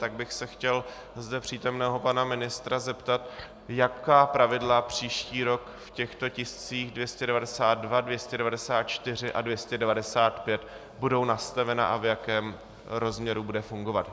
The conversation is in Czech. Tak bych se chtěl zde přítomného pana ministra zeptat, jaká pravidla příští rok v těchto tiscích 292, 294 a 295 budou nastavena a v jakém rozměru budou fungovat.